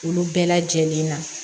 Olu bɛɛ lajɛlen na